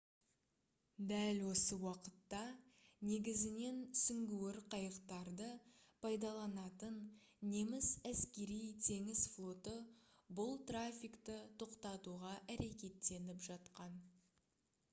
дәл осы уақытта негізінен сүңгуір қайықтарды пайдаланатын неміс әскери-теңіз флоты бұл трафикті тоқтатуға әрекеттеніп жатқан